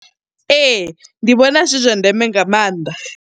Ee, ndi vhona zwi zwa ndeme nga maanḓa.